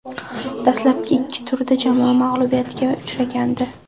Dastlabki ikki turda jamoa mag‘lubiyatga uchragandi.